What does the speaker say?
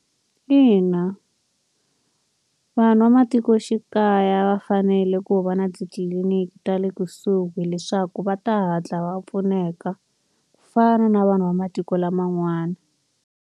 Ina vanhu va matikoxikaya va fanele ku va na titliliniki ta le kusuhi leswaku va ta hatla va pfuneka. Ku fana na vanhu va matiko laman'wana.